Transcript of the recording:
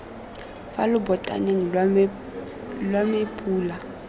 fa lobotaneng lwa me pula